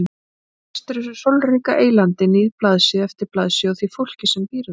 Hún ristir þessu sólríka eylandi níð blaðsíðu eftir blaðsíðu og því fólki sem býr þar.